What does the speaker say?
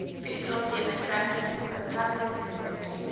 federal democratic republic